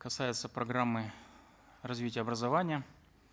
касается программы развития образования